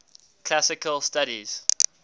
classical studies